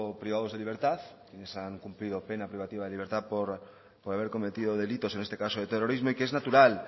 privados de libertad quienes han cumplido pena privativa de libertad por haber cometido delitos en este caso de terrorismo y que es natural